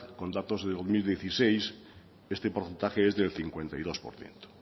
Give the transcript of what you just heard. con datos del dos mil dieciséis este porcentaje es del cincuenta y dos por ciento